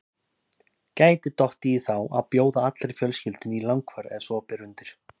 Gæti dottið í þá að bjóða allri fjölskyldunni í langferð ef svo ber undir.